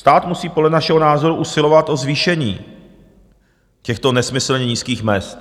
Stát musí podle našeho názoru usilovat o zvýšení těchto nesmyslně nízkých mezd.